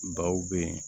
Baw bɛ yen